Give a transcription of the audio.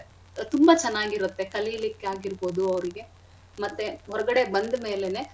ತುಂಬಾ ಚೆನ್ನಾಗಿರತ್ತೆ ಕಲಿಲಿಕ್ಕಾಗಿರ್ಬೋದು ಅವ್ರಿಗೆ ಮತ್ತೆ ಹೊರ್ಗಡೆ ಬಂದ್ಮೇಲೆನೆ.